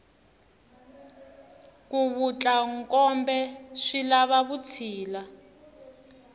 ku vatla nkombe swilava vutshila